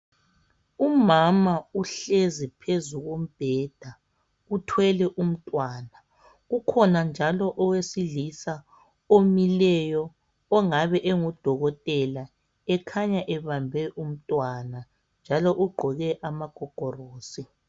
Umama uhlezi phezu kombheda uthwele umntwana, kukhona njalo owesilisa omileyo ongabe engudokotela ekhanya ebambe umntwana njalo ugqoke amagogorosi.